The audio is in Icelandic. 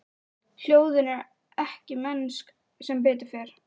Hljóðin eru ekki mennsk, sem betur fer.